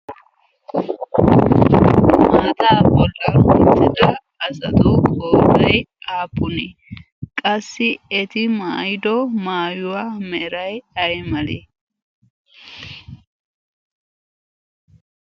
maataa bollan uttada asatu ootoi aapune? qassi eti maayido maayuwaa merai ai malee?